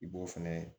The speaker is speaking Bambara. I b'o fɛnɛ